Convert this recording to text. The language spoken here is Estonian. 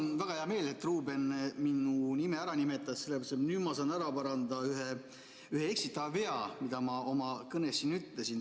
Mul on väga hea meel, et Ruuben minu nime nimetas, sest nüüd ma saan ära parandada ühe eksitava vea, mida ma oma kõnes ütlesin.